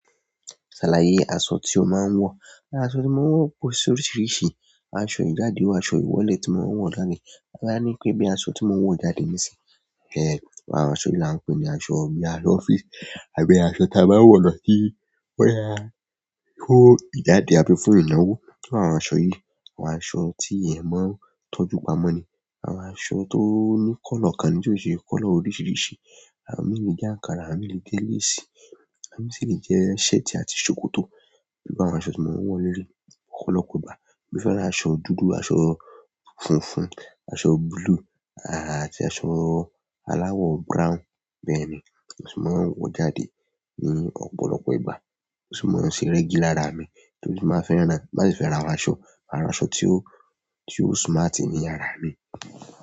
Ṣàlàyé aṣọ tí o máa ń wọ̀. Aṣọ tí mo ń wọ̀ pò oríṣiríṣi. Aṣọ ìjáde wa aṣọ ìwọlé tí mo ń wọ̀ jáde. A máa ní pé bí aṣọ tí mo ń wọ̀ jáde nísìnyí, ẹéh, àwọn aṣọ yìí là ń pè ní aṣọ bí aṣọ office àbí aṣọ tí a bá ń wọ̀ lọ sí bọyá fún ìjáde àbí fún ìnáwó. Ni pé àwọn aṣọ yìí, àwọn aṣọ tí èèyàn máa ń tọ́jú pamọ́ ni. Àwọn aṣọ tó ní kọ́lọ̀ kan ní tió ṣe kọ́lọ̀ oríṣiríṣi. Àwọn mi le jẹ àǹkárá, àwọn mi le jẹ léèsì, àwọn mi si le jẹ shirt àti ṣòkòtò. Iwọnba àwọn aṣọ tí mo ń wọ̀ léleí ọ̀pọ̀lọpọ̀ ìgbà. Mo fẹ́ràn aṣọ dúdú, aṣọ funfun, aṣọ búlúù, àti aṣọ aláwọ̀ brown. Bẹ́ẹ̀ ni. Aṣọ tí mo ń wọ̀ jáde ní ọ̀pọ̀lọpọ̀ ìgbà. O si mọ ń ṣe rẹ́gí lára mi torí mo máa ń fẹ́ràn náà. Ti mo ba sì fẹ́ ra àwọn aṣọ, àwọn aṣọ tí ó, tí ó smart ní ara mi.